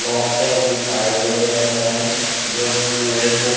बहोत सही दिखाई दे रहे हैं जो की ये सब--